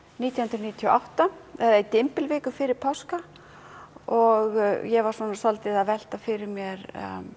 nítján hundruð níutíu og átta eða í dymbilviku fyrir páska og ég var svolítið að velta fyrir mér